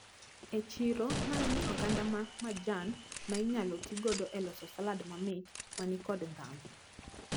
E chiro naneno oganda ma majan mainyalo tigodo eloso salad mamit manikod ndhadhu.